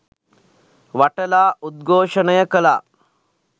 වටලා උද්ඝෝෂණය කලා.